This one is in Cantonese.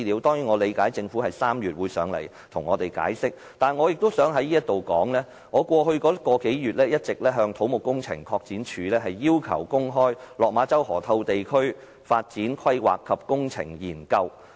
當然，我理解政府在3月會來到立法會向我們解釋，但我想在這裏說，過去1個多月，我一直要求土木工程拓展署公開落馬洲河套地區發展規劃及工程研究的資料。